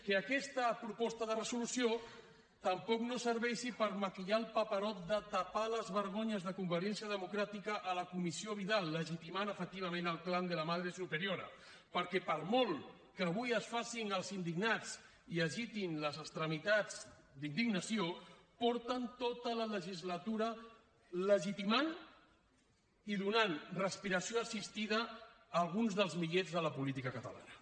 que aquesta proposta de resolució tampoc no serveixi per maquillar el paperot de tapar les vergonyes de convergència democràtica a la comissió vidal legitimant efectivament el clan de la madre superiorai agitin les extremitats d’indignació porten tota la legislatura legitimant i donant respiració assistida a alguns dels millets de la política catalana